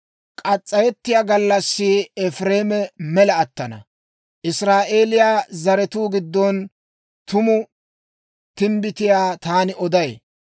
K'as's'ayettiyaa gallassi Efireeme mela attana; Israa'eeliyaa zaratuu giddon tumu timbbitiyaa taani oday.